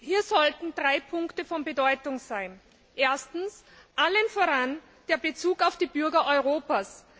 Hier sollten drei Punkte von Bedeutung sein Erstens, vor allem der Bezug auf die Bürger Europas.